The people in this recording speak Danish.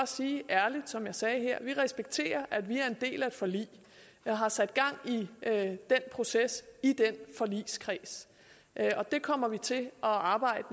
sige ærligt som jeg sagde her at vi respekterer at vi er en del af et forlig der har sat gang i den proces i den forligskreds og det kommer vi til at arbejde